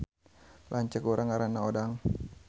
Lanceuk urang ngaranna Odang